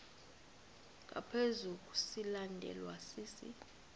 ngaphezu silandelwa sisi